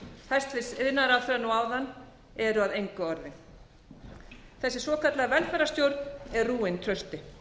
orð hæstvirts iðnaðarráðherra nú áðan eru að engu orðin þessi svokallaða velferðarstjórn er rúin trausti